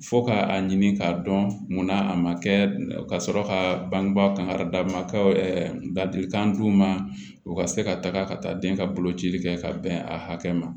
Fo ka a ɲini k'a dɔn munna a ma kɛ ka sɔrɔ ka bangebaa kan ka d'a ma ka ladilikan d'u ma u ka se ka taga ka taa den ka boloci kɛ ka bɛn a hakɛ ma